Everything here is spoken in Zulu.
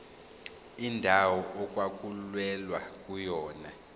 indawo okwakulwelwa kuyona